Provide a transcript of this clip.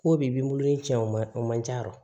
Ko bi n bolo in tiɲɛ o ma o man ca dɛ